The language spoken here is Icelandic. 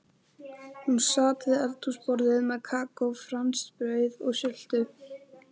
Hún sat við eldhúsborðið með kakó, franskbrauð og sultu.